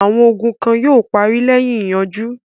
Àwọn ogun kan yóò parí lẹ́yìn ìyanjú.